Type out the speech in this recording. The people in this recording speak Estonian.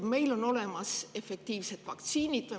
Meil on olemas efektiivsed vaktsiinid.